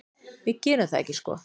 Við gerum það ekki sko.